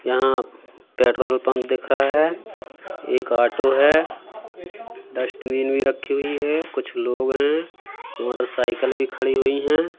यहां petrol pump दिख रहा है एक ऑटो है डस्टबिन भी रखी हुई है कुछ लोग हैं मोटरसाइकल भी खड़ी हुई हैं।